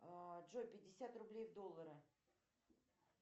джой пятьдесят рублей в доллары